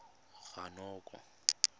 ranoko